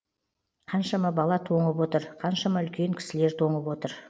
қаншама бала тоңып отыр қаншама үлкен кісілер тоңып отыр